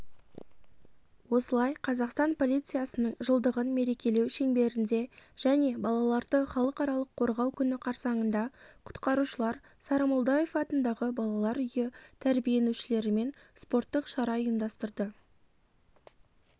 осылай қазақстан полициясының жылдығын мерекелеу шеңберінде және балаларды халықаралық қорғау күні қарсаныңда құтқарушылар сарымолдаев атындағы балалар үйі тәрбиенушілерімен спорттық шара ұйымдастырды